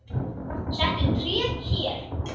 Settu tréð hér.